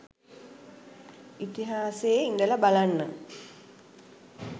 ඉතිහාසයේ ඉඳලා බලන්න